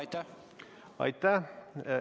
Aitäh!